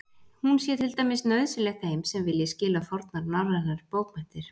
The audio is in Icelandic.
Hún sé til dæmis nauðsynleg þeim sem vilji skilja fornar norrænar bókmenntir.